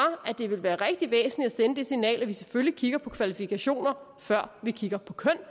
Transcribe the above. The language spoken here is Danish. at det ville være rigtig væsentligt at sende det signal at vi selvfølgelig kigger på kvalifikationer før vi kigger på køn